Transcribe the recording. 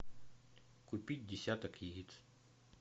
купить десяток яиц